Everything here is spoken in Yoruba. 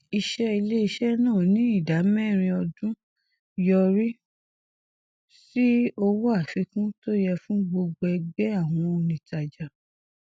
ìṣe iléiṣẹ náà ní ìdá mẹrin ọdún yọrí sí owó àfikún tó yẹ fún gbogbo ẹgbẹ àwọn onítàjà